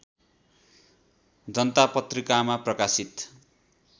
जनता पत्रिकामा प्रकाशित